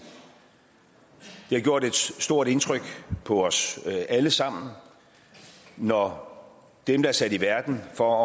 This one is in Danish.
har gjort et stort indtryk på os alle sammen når dem der er sat i verden for